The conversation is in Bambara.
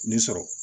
Nin sɔrɔ